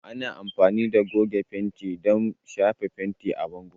Ana amfani da goge fenti don shafa fenti a bango.